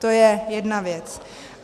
To je jedna věc.